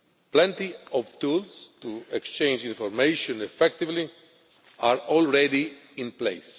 Plenty of tools to exchange information effectively are already in place.